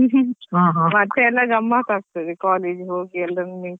ಹಾ ಹಾ.